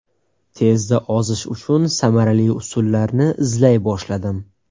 Tezda ozish uchun samarali usullarni izlay boshladim.